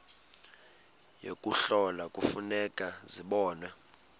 yokuhlola kufuneka zibonwe